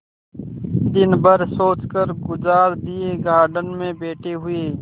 दिन भर सोचकर गुजार दिएगार्डन में बैठे हुए